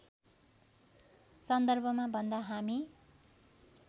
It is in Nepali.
सन्दर्भमा भन्दा हामी